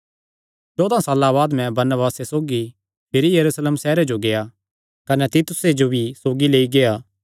चौदा साल्लां बाद मैं बरनबासे सौगी भिरी यरूशलेम सैहरे जो गेआ कने तीतुसे जो भी सौगी लेई गेआ